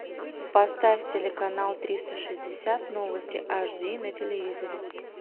поставь телеканал триста шестьдесят новости аш ди на телевизоре